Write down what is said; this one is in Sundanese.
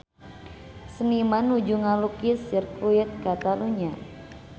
Seniman nuju ngalukis Sirkuit Katalunya